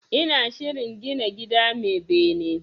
Ina shirin gina gida mai bene